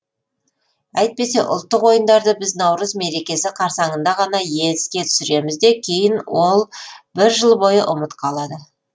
әйтпесе ұлттық ойындарды біз наурыз мерекесі қарсаңында ғана еске түсіреміз де кейін ол бір жыл бойы ұмыт қалады